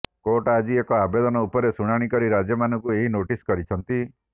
court ଆଜି ଏକ ଆବେଦନ ଉପରେ ଶୁଣାଣି କରି ରାଜ୍ୟମାନଙ୍କୁ ଏହି ନୋଟିସ୍ କରିଛନ୍ତି